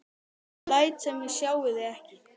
Ég læt sem ég sjái þá ekki.